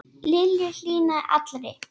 Lillu hlýnaði allri.